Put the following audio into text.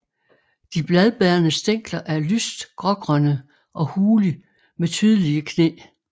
De bladbærende stængler er lyst grågrønne og hule med tydelige knæ